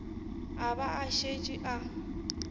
a ba a šetše a